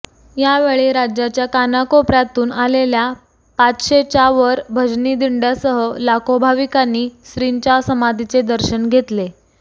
यावेळी राज्याच्या कानाकोपर्यातून आलेल्या पाचशेच्या वर भजनी दिंड्यासह लाखो भाविकांनी श्रींच्या समाधीचे दर्शन घेतले